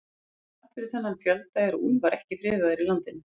Þrátt fyrir þennan fjölda eru úlfar ekki friðaðir í landinu.